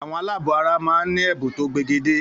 Àwọn aláàbọ̀ara máa ń ní ẹ̀bùn tó pegedé.